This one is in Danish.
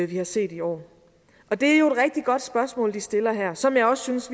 vi har set i år det er jo et rigtig godt spørgsmål de stiller her og som jeg også synes